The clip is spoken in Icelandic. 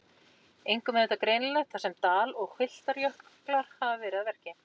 Einkum er þetta greinilegt þar sem dal- og hvilftarjöklar hafa verið að verki.